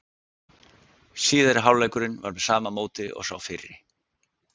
Síðari hálfleikurinn var með sama móti og sá fyrri.